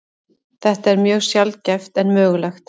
Þetta er mjög sjaldgæft en mögulegt.